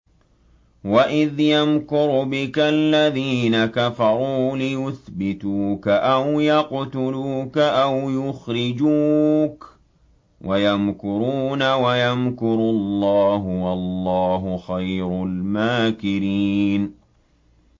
وَإِذْ يَمْكُرُ بِكَ الَّذِينَ كَفَرُوا لِيُثْبِتُوكَ أَوْ يَقْتُلُوكَ أَوْ يُخْرِجُوكَ ۚ وَيَمْكُرُونَ وَيَمْكُرُ اللَّهُ ۖ وَاللَّهُ خَيْرُ الْمَاكِرِينَ